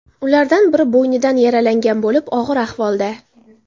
Ulardan biri bo‘ynidan yaralangan bo‘lib, og‘ir ahvolda.